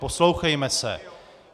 Poslouchejme se.